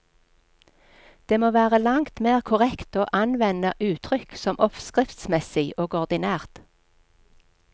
Det må være langt mer korrekt å anvende uttrykk som oppskriftsmessig og ordinært.